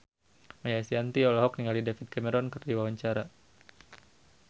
Maia Estianty olohok ningali David Cameron keur diwawancara